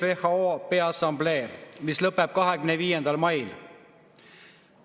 Maailma Terviseassamblee, mis lõpeb 25. mail.